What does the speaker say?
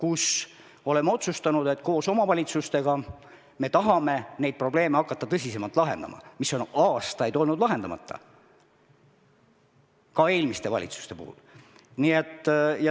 Me oleme otsustanud, et hakkame koos omavalitsustega tõsisemalt lahendama neid probleeme, mis on aastaid olnud lahendamata, ka eelmistel valitsustel.